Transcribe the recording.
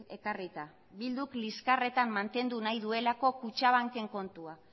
ekarrita bilduk liskarretan mantendu nahi duelako kutxabankeko kontua